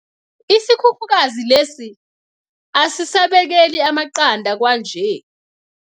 Isikhukhukazi lesi asisabekeli amaqanda kwanje.